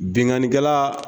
Binnkannikɛla